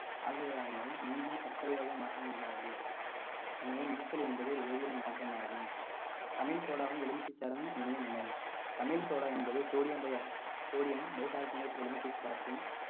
மீண்டும் சர்க்கரையாக மாற்ற இயலாது எனவே என்பது ஒரு வேதியியல் மாற்றமாகும் சமையல் சோடாவும் எலுமிச்சைசாரும் இணையும் வினை சமையல் சோடா என்பது sodium bi~ sodium bicarbonate எலுமிச்சை சாற்றில்